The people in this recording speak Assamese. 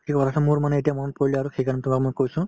মোৰ মানে এতিয়া মনত পৰিলে আৰু সেইকাৰণে তোমাক মই কৈছো